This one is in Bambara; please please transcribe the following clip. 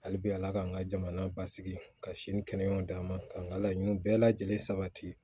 Hali bi ala k'an ka jamana basigi ka sini kɛnɛma d'a ma k'an ka laɲiniw bɛɛ lajɛlen sabati